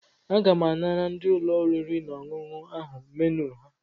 Aga m anara ndị ụlọ oriri na ọṅụṅụ ahụ menu ha.